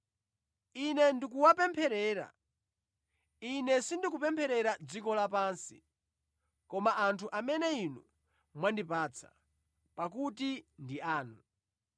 Ine ndikuwapempherera. Ine sindikupempherera dziko lapansi, koma anthu amene Inu mwandipatsa, pakuti ndi anu.